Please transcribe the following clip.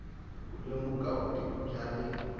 ku lemuka vutivi bya le